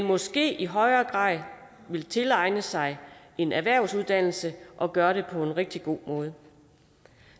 måske i højere grad vil tilegne sig en erhvervsuddannelse og gøre det på en rigtig god måde